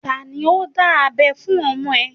Tani ó dábẹ́ fún ọmọ ẹ?